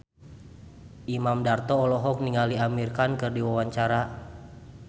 Imam Darto olohok ningali Amir Khan keur diwawancara